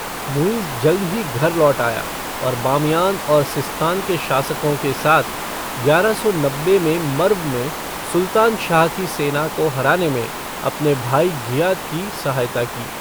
मुइज़ जल्द ही घोर लौट आया, और बामियान और सिस्तान के शासकों के साथ, ग्यारह सौ नब्बे में मर्व में सुल्तान शाह की सेना को हराने में अपने भाई घियाथ की सहायता की।